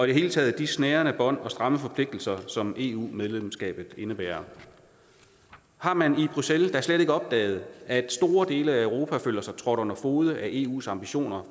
det hele taget de snærende bånd og stramme forpligtelser som eu medlemskabet indebærer har man i bruxelles da slet ikke opdaget at store dele af europa føler sig trådt under fode af eus ambitioner